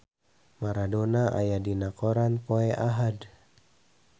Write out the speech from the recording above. Maradona aya dina koran poe Ahad